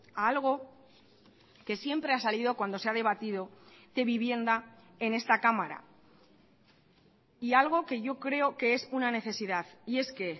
a algo que siempre ha salido cuando se ha debatido de vivienda en esta cámara y algo que yo creo que es una necesidad y es que